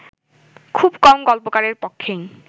খুব কম গল্পকারের পক্ষেই